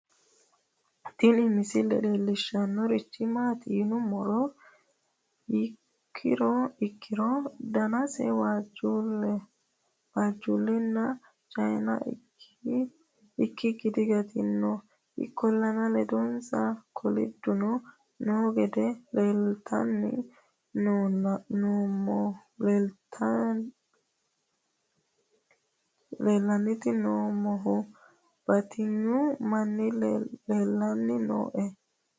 tini misile leellishshannorichi maati yinummoha ikkiro danasa waajjullehona cayina ikkikki diganto ikkollana ledonsa kolidduno noo gede la'anniiti noommohu batinyu manni leellanni nooe